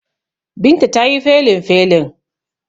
Binta ta yi felinfelin.